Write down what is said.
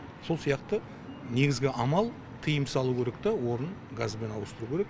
сол сияқты негізгі амал тыйым салу керек те орнын газбен ауыстыру керек